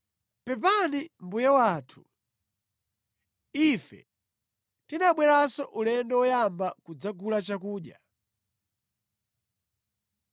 “Pepani mbuye wathu, ife tinabweranso ulendo woyamba kudzagula chakudya